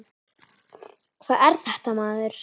Hvað er þetta maður?